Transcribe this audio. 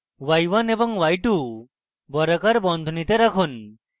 y1 এবং y2 বর্গাকার বন্ধনীতে রাখুন